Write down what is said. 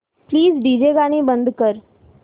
please DJ गाणी बंद कर